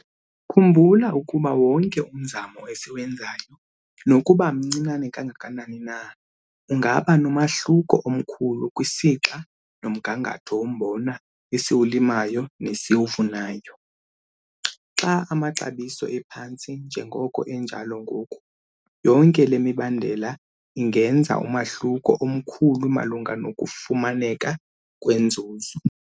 Khumbula ukuba wonke umzamo esiwenzayo nokuba mncinane kangakanani na ungaba nomahluko omkhulu kwisixa nomgangatho wombona esiwulimayo nesiwuvunayo. Xa amaxabiso ephantsi njengoko enjalo ngoku, yonke le mibandela ingenza umahluko omkhulu malunga nokufumaneka kwenzuzo.